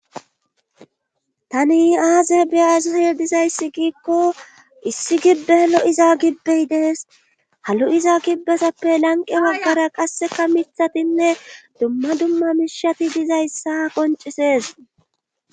Tani aaze biyaazsoye dizayssi giikko issi gibbe lo7iza gibbehidees ha lo7iza gibbezappe lanqe baggara qasseka mithatinne dumma dumma mishati dizayssa qoncises